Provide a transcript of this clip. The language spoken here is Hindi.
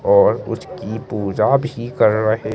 और उसकी पूजा भी कर रहे है।